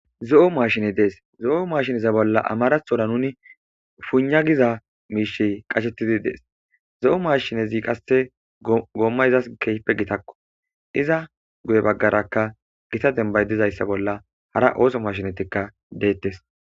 zo7o mashine dees zo7o mashiniza bolla amarathora nuni puuna giza miishi qashettidi dees zo7o maashinezi qase goommayzas geype gitakko iza guye baggaraka gita dembay dizayssa bolla hara ooso mashinetikka deettes